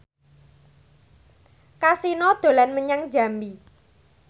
Kasino dolan menyang Jambi